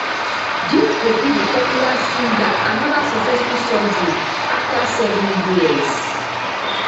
dis go be di popular singer anoda successful surgery afta seven years